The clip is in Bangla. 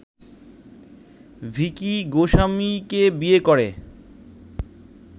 ভিকি গোস্বামীকে বিয়ে করে